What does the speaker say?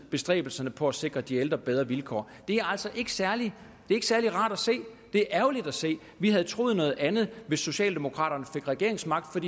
bestræbelserne på at sikre de ældre bedre vilkår det er altså ikke særlig rart at se det er ærgerligt at se vi havde troet noget andet hvis socialdemokraterne fik regeringsmagten